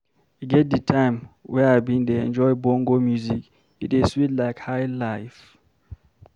E get di time wey I bin dey enjoy bongo music, e dey sweet like high-life.